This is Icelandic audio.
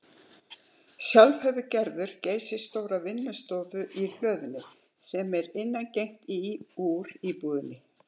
Sjálf hefur Gerður geysistóra vinnustofu í hlöðunni, sem er innangengt í úr íbúðinni.